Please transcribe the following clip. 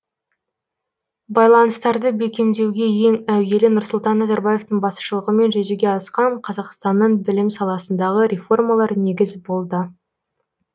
байланыстарды бекемдеуге ең әуелі нұрсұлтан назарбаевтың басшылығымен жүзеге асқан қазақстанның білім саласындағы реформалар негіз болды